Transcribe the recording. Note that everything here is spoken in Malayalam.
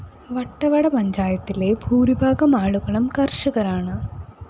വട്ടവട പഞ്ചായത്തിലെ ഭൂരിഭാഗം ആളുകളും കര്‍ഷകരാണ്